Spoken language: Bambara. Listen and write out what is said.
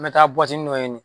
N mɛ taa buwatinin dɔ ɲini.